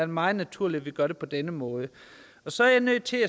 meget naturligt at vi gør det på denne måde så er jeg nødt til